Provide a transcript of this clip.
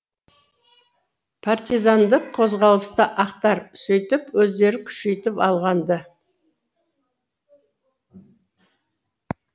партизандық қозғалысты ақтар сөйтіп өздері күшейтіп алған ды